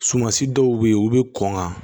Sumansi dɔw bɛ yen u bɛ kɔn ka